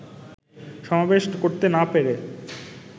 সমাবেশ করতে না পেরে